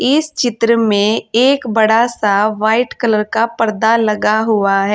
इस चित्र में एक बड़ा सा व्हाइट कलर का पर्दा लगा हुआ है।